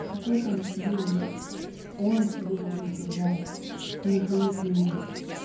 какой там тебе он он к тебе должен приезжать не ты к нему